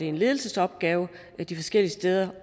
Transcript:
en ledelsesopgave de forskellige steder